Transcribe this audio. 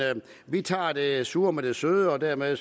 vi tager det sure med det søde og dermed